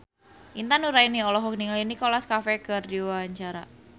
Intan Nuraini olohok ningali Nicholas Cafe keur diwawancara